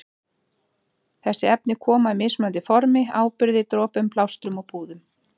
Þessi efni koma í mismunandi formi- áburði, dropum, plástrum og púðum.